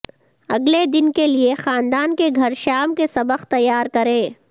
اگلے دن کے لئے خاندان کے گھر شام کے سبق تیار کریں